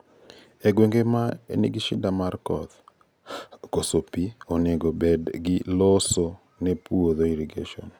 E gwenge ma nigi shida mar koth, koso pii onego ked gi loso ne puodho irrigation.